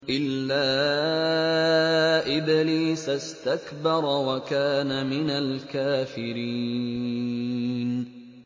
إِلَّا إِبْلِيسَ اسْتَكْبَرَ وَكَانَ مِنَ الْكَافِرِينَ